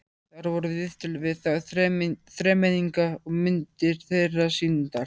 Þar voru viðtöl við þá þremenninga og myndir þeirra sýndar.